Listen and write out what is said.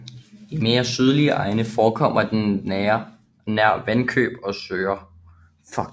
I mere sydlige egne forekommer den nær vandløb og søer